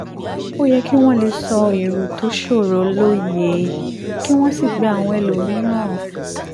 ó yẹ kí wọ́n lè sọ èrò tó ṣòroó lóye kí wọ́n sì gba àwọn ẹlòmíràn